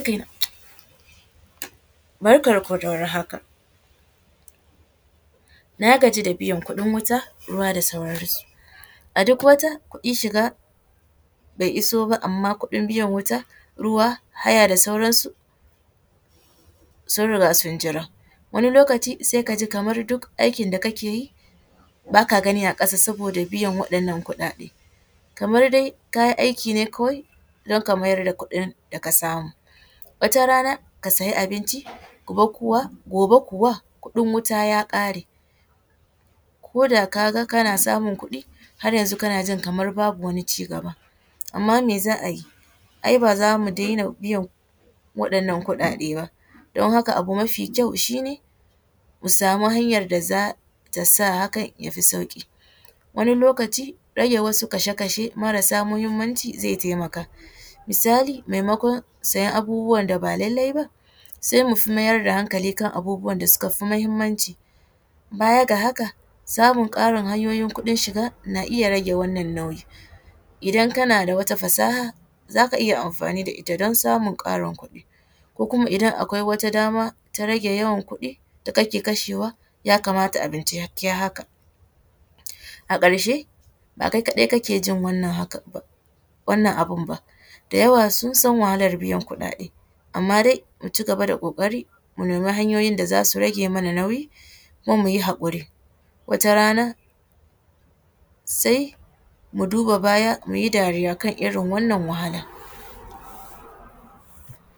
Barkar ku da warhaka. Na gaji da biyan kuɗin wuta, ruwa da sauran su. A duk wata kuɗin shiga bai iso ba amma kuɗin biyan wuta, ruwa, haya da sauran su sun riga sun jira. Wani lokaci sai ka ji kamar duk aikin da kake yi baka gani a ƙasa saboda biyan waɗannan kuɗaɗe, kamar dai ka yi aiki ne kawai don ka mayar da kuɗin da ka samu. Wata rana ka siya abinci, gobe kuwa kuɗin wuta ya ƙare, ko da kaga kana samun kuɗi har yanzu kana ji kamar babu wani cigaba, amma me za a yi, ai ba za mu daina biyan waɗannan kuɗaɗe ba don haka abu mafi kyau shine mu samu hanyar da zata sa hakan ya fi sauƙi. Wani lokaci rage wasu kashe-kashe marasa muhimmanci zai taimaka misali, maimakon sayan abubuwan da ba lallai ba sai mu fi mayar da hankali kan abubuwan da suka fi muhimmanci. Baya ga haka samun ƙarin hanyoyin kuɗin shiga na iya rage wannan nauyi. Idan kana da wata fasaha zaka iya amfani da ita don samun ƙarin kuɗi ko kuma idan akwai wata dama ta rage yawan kuɗi da kake kashewa ya kamata ya kamata a bincike haka. A ƙarshe, ba kai kaɗai kake jin wannan hakan ba, wannan abun ba da yawa sun san wahalar biyan kuɗaɗe amma dai mu cigaba da ƙoƙari mu nemi hanyoyin da za su rage mana nauyi kuma mu yi haƙuri wata rana sai mu duba baya mu yi dariya kan irin wannan wahala.